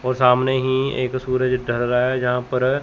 वो सामने ही एक सूरज ढर रहा है जहां पर--